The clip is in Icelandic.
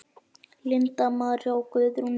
Linda María og Guðrún Lilja.